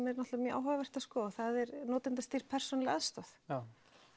er mjög áhugavert að skoða og það er notendastýrð persónuleg aðstoð já